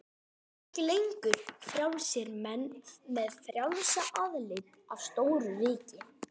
Við verðum ekki lengur frjálsir menn með frjálsa aðild að stóru ríki.